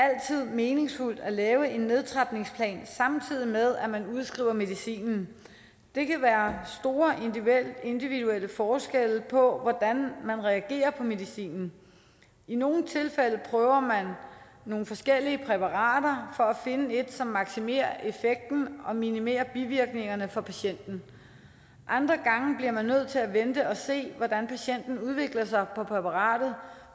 meningsfuldt at lave en nedtrapningsplan samtidig med at man udskriver medicinen der kan være store individuelle forskelle på hvordan man reagerer på medicinen i nogle tilfælde prøver man nogle forskellige præparater for at finde et som maksimerer effekten og minimerer bivirkningerne for patienten andre gange bliver man nødt til at vente og se hvordan patienten udvikler sig med præparatet